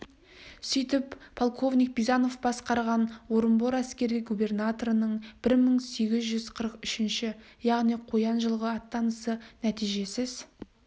сөйтіп полковник бизанов басқарған орынбор әскери губернаторының бір мың сегіз жүз қырық үшінші яғни қоян жылғы аттанысы нәтижесіз